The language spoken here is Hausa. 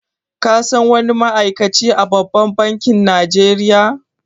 Ka san wani ma'aikaci a babban bankin Najeriya?